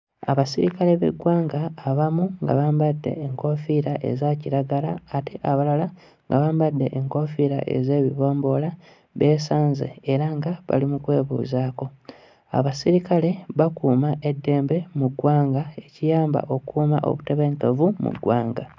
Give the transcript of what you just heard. Abasirikale b'eggwanga abamu nga bambadde enkoofiira eza kiragala ate abalala nga bambadde enkoofiira ez'ebibomboola beesanze era nga bali mu kwebuuzaako. Abasirikale bakuuma eddembe mu ggwanga, ekiyamba okukuuma obutebenkevu mu ggwanga.